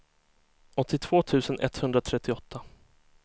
åttiotvå tusen etthundratrettioåtta